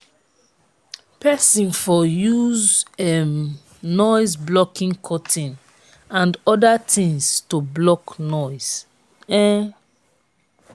person for use um noise blocking curtain and oda things to block noise um